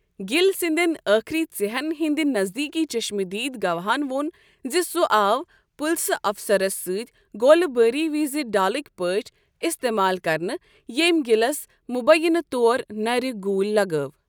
Gill سندین ٲخری ژِہین ہندِ نزدیكی چشم دید گواہن وو٘ن زِ سُہ آو پُلسہٕ افسرس سٕتۍ گولہٕ باری وِزِ ڈالٕکۍ پٲٹھۍ استعمال كرنہٕ ییمۍ گِلس مبیعنہٕ طور نرِ گُولۍ لگٲو ۔